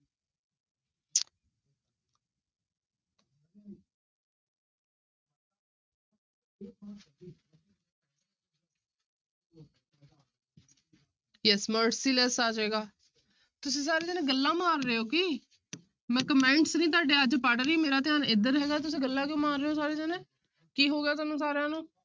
Yes merciless ਆ ਜਾਏਗਾ, ਤੁਸੀਂ ਸਾਰੇ ਜਾਣੇ ਗੱਲਾਂ ਮਾਰ ਰਹੇ ਹੋ ਕੀ ਮੈਂ comments ਨੀ ਤੁਹਾਡੇ ਅੱਜ ਪੜ੍ਹ ਰਹੀ, ਮੇਰਾ ਧਿਆਨ ਇੱਧਰ ਹੈਗਾ, ਤੁਸੀਂ ਗੱਲਾਂ ਕਿਉਂ ਮਾਰ ਰਹੇ ਹੋ ਸਾਰੇ ਜਾਣੇ ਕੀ ਹੋ ਗਿਆ ਤੁਹਾਨੂੰ ਸਾਰਿਆਂ ਨੂੰ